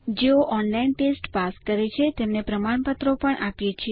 જેઓ online test pass કરે છે તેમને પ્રમાણપત્રો પણ આપીએ છીએ